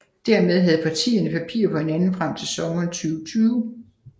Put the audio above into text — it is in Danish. Dermed havde parterne papir på hinanden frem til sommeren 2020